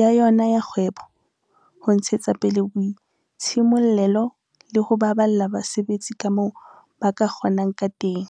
ya yona ya kgwebo, ho ntshetsa pele boitshimollelo le ho baballa basebetsi kamoo ba ka kgo nang ka teng.